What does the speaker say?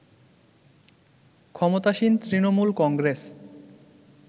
ক্ষমতাসীন তৃণমূল কংগ্রেস